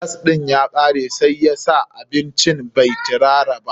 Gas ɗin ya kare, sai sa abincin bai tirara ba.